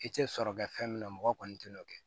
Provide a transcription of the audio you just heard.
I tɛ sɔrɔ kɛ fɛn minna mɔgɔ kɔni tɛna o kɛ